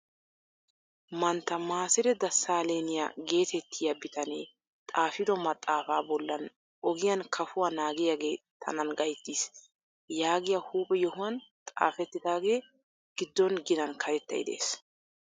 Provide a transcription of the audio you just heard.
Mantta Masire Dasalenya getettiyaa bitanee xaafido maxaafa bollan ogiyan kafuwaa naagiyaage tanaan gayttiis yaagiyaa huuphe yohuwan xaafettidaage giddon ginan karettay de'ees.